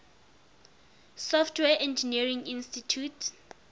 software engineering institute